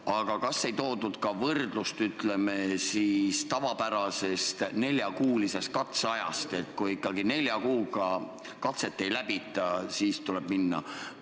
Aga kas ei toodud ka võrdlust, ütleme, tavapärasest neljakuulisest katseajast – kui ikkagi nelja kuuga katset ei läbita, siis tuleb minna?